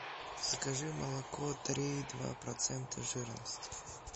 закажи молоко три и два процента жирности